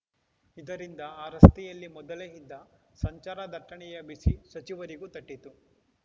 ಇದರಿಂದ ಆ ರಸ್ತೆಯಲ್ಲಿ ಮೊದಲೇ ಇದ್ದ ಸಂಚಾರ ದಟ್ಟಣೆಯ ಬಿಸಿ ಸಚಿವರಿಗೂ ತಟ್ಟಿತು